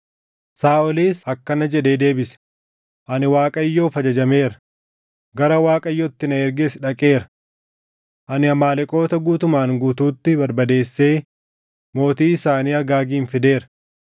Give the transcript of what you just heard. Saaʼolis akkana jedhee deebise; “Ani Waaqayyoof ajajameera; gara Waaqayyo itti na erges dhaqeera. Ani Amaaleqoota guutumaan guutuutti barbadeessee mootii isaanii Agaagin fideera.